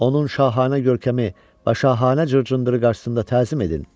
Onun şahanə görkəmi və şahanə cırcındırı qarşısında təzim edin!